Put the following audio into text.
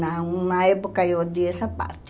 Na uh na época, eu odiei essa parte.